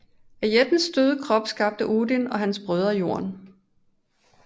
Af jættens døde krop skabte Odin og hans brødre Jorden